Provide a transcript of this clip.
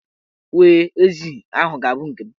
We, ezi ahụ ga-abụ nke m.